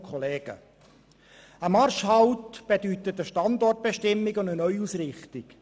Ein Marschhalt bedeutet eine Standortbestimmung und eine Neuausrichtung.